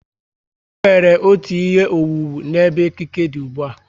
E nwere otú ihe owuwu n'ebe ekike dị ùgbúà